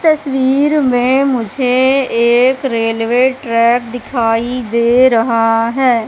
तस्वीर में मुझे एक रेलवे ट्रैक दिखाई दे रहा है।